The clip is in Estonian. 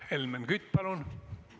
Helmen Kütt, palun!